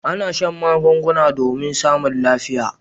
A'na shan magunguna domin samun lafiya.